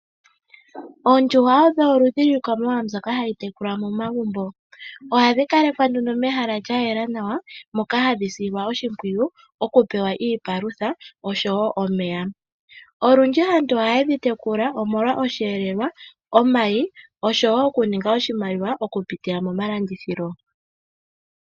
Ondjuhwa odho oludhi lwiikwamawawa mbyoka hayi tekulwa momagumbo. Ohadhi kalekwa mehala lyayela nawa moka hadhi silwa oshimpwiyu okupewa iipalutha osho wo omeya. Olundji aantu ohaye dhi tekula omolwa oshiyelelwa, omayi osho wo okuninga oshimaliwa okupitila momalandithilo.